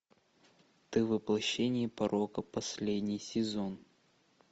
ты воплощение порока последний сезон